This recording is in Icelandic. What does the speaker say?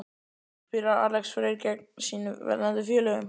Spilar Alex Freyr gegn sínum verðandi félögum?